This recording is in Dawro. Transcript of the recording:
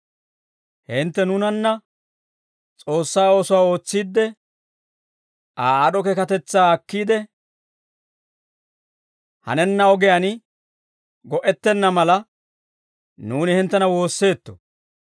Hintte nuunanna S'oossaa oosuwaa ootsiidde, Aa aad'd'o keekatetsaa akkiide hanenna ogiyaan go"ettenna mala, nuuni hinttena woosseetto.